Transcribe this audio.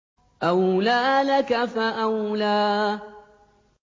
أَوْلَىٰ لَكَ فَأَوْلَىٰ